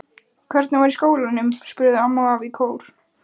Hvernig var í skólanum? spurðu amma og afi í kór.